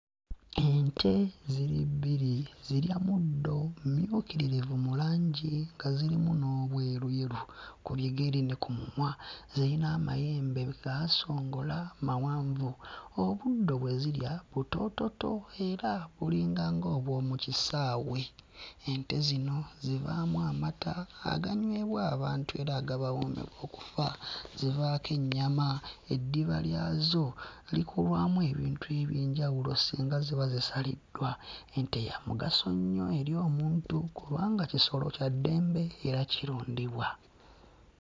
Ente ziri bbiri zirya muddo, mmyukiririvu mu langi nga zirimu n'obweruyeru ku bigere ne ku mumwa. Ziyina amayembe gaasongola mawanvu. Obuddo bwe zirya butoototo era bulinganga obw'omu kisaawe. Ente zino zivaamu amata aganywebwa abantu era agabawoomerwa okufa. Zivaako ennyama, eddiba lyazo likolwamu ebintu eby'enjawulo singa ziba zisaliddwa. Ente ya mugaso nnyo eri omuntu kubanga kisolo kya ddembe era kirundibwa.